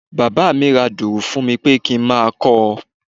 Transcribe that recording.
Bàbá mi ra dùrù fún mi pé kí n máa kọ́ ọ.